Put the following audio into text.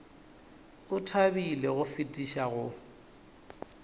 o thabile go fetiša go